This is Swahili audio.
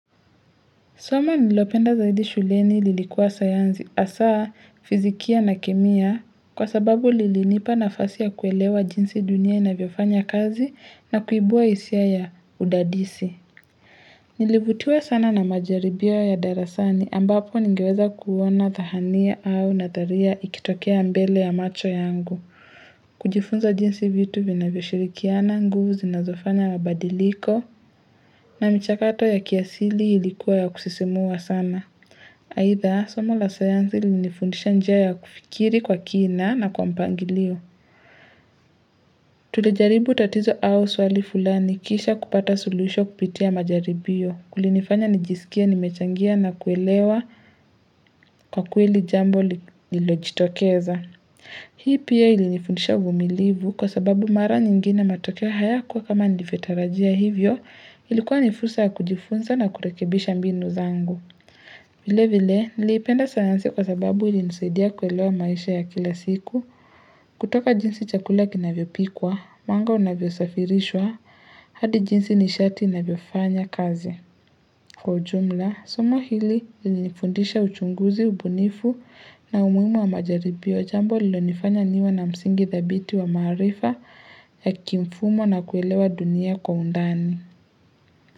Soma nililopenda zaidi shuleni lilikuwa sayansi hasaa fizikia na kemia kwa sababu lilinipa nafasi ya kuelewa jinsi dunia inavyofanya kazi na kuibua hisia ya udadisi. Nilivutiwa sana na majaribio ya darasani ambapo ningeweza kuwa na dhahania au nadharia ikitokea mbele ya macho yangu. Kujifunza jinsi vitu vinavyoshirikiana nguvu zinazofanya mabadiliko na mchakato ya kiasili ilikuwa ya kusisimua sana Aidha somo la sayansi lilinifundisha njia ya kufikiri kwa kina na kwa mpangilio Tulijaribu tatizo au swali fulani kisha kupata suluhisho kupitia majaribio. Kulinifanya nijisikie nimechangia na kuelewa kwa kweli jambo iliojitokeza. Hii pia ilinifundisha uvumilivu kwa sababu mara nyingine matokeo hayakuwa kama nilivyotarajia hivyo ilikuwa ni fursa kujifunza na kurekebisha mbinu zangu. Vile vile, niliipenda sayansi kwa sababu ilinisaidia kuelewa maisha ya kila siku, kutoka jinsi chakula kinavyopikwa, huwanga unavyosafirishwa, hadi jinsi nishati inavyofanya kazi. Kwa ujumla, soma hili lilinifundisha uchunguzi, ubunifu na umuhimu wa majaribio jambo lililonifanya niwe na msingi dhabiti wa maarifa ya kimfumo na kuelewa dunia kwa undani.